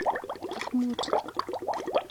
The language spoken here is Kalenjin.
Ak mut.